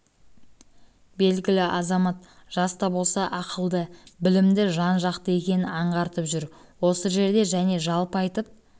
белгілі азамат жас та болса ақылды білімді жан-жақты екенін аңғартып жүр осы жерде және жалпы айтып